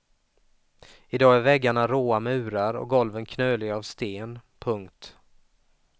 I dag är väggarna råa murar och golven knöliga av sten. punkt